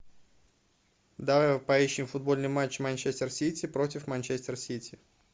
давай поищем футбольный матч манчестер сити против манчестер сити